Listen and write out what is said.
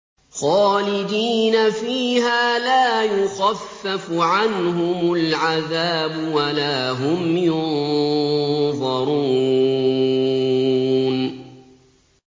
خَالِدِينَ فِيهَا لَا يُخَفَّفُ عَنْهُمُ الْعَذَابُ وَلَا هُمْ يُنظَرُونَ